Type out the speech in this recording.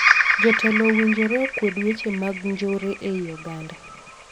Jotelo owinjore okwed weche mag njore ei oganda.